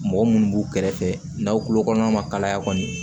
Mɔgɔ munnu b'u kɛrɛfɛ n'aw tulo kɔnɔna ma kalaya kɔni